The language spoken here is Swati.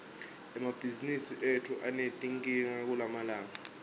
emabhizimisi etfu anetinkinga kulamalanga